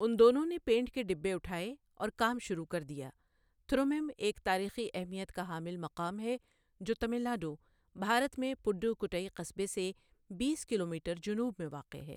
ان دونوں نے پینٹ کے ڈبےّ اٹھاے اور کام شروع کر دیا تھرومیم ایک تاریخی اہمیت کا حامل مقام ہے جو تمل ناڈو، بھارت میں پڈوکوٹئی قصبے سے بیس کلومیٹر جنوب میں واقع ہے۔